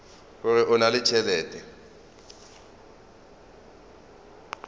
gore o na le tšhelete